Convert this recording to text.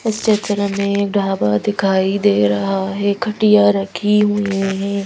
इस क्षेत्र में ढाबा दिखाई दे रहा है खटिया रखी हुई है।